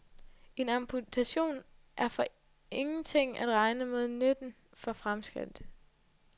En amputation er for ingenting at regne mod nytten for fremskridtet.